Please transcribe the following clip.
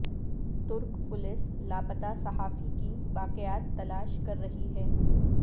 ترک پولیس لاپتا صحافی کی باقیات تلاش کر رہی ہے